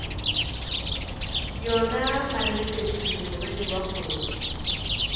yona maleteku morwedi wa kgoši